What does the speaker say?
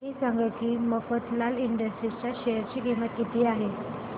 हे सांगा की मफतलाल इंडस्ट्रीज च्या शेअर ची किंमत किती आहे